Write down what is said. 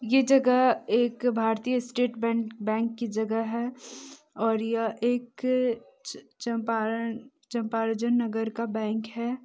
ये जगह एक भारतीय स्टेट बैं-बैंक की जगह है और ये एक चंपारण चंपर्जन नगर का बैंक है।